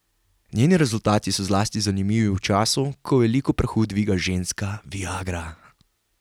Njeni rezultati so zlasti zanimivi v času, ko veliko prahu dviga ženska viagra.